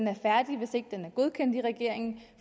er færdig hvis ikke den er godkendt i regeringen